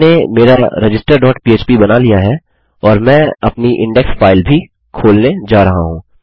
मैंने मेरा register dot पह्प बना लिया है और मैं अपनी इंडेक्स फाइल भी खोलने जा रहा हूँ